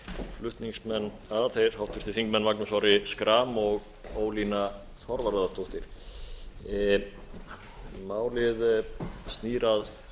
flutningsmenn að þeir háttvirtir þingmenn magnús orri schram og ólína þorvarðardóttir málið snýr að